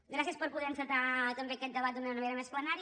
gràcies per poder encetar també aquest debat d’una manera més plenària